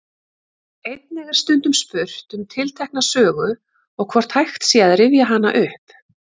Einnig er stundum spurt um tiltekna sögu og hvort hægt sé að rifja hana upp.